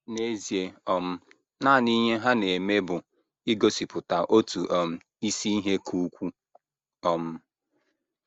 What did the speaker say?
N’ezie, um nanị ihe ha na - eme bụ igosipụta otu um isi ihe ka ukwuu um.